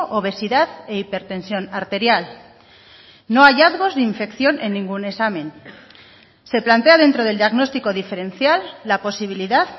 obesidad e hipertensión arterial no hallazgos de infección en ningún examen se plantea dentro del diagnóstico diferencial la posibilidad